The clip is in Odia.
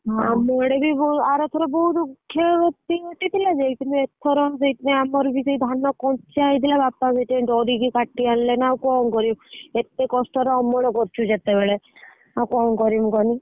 ଆର ଥର ବୋହୁତ କ୍ଷୟ କ୍ଷତି ଘଟିଥିଲା ଯେ କିନ୍ତୁ ଏଥର ସେଇଥିପାଇଁ ଆମର ବି ଧାନ କଞ୍ଚା ହେଇଥିଲା ବାପା ସେଇଥି ପାଇଁନ ଡରିକି କାଟି ଆଣିଲେ ନାଁ ଆଉ କଣ କରିବେ ଏତେ କଷ୍ଟ ରେ ଅମଳ କରିଛୁ ଯେତେବେଳେ ଆଉ କଣ କରିବୁ କହନି।